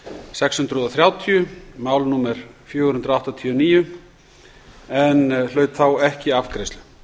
sex hundruð og þrjátíu mál númer fjögur hundruð áttatíu og níu en hlaut ekki afgreiðslu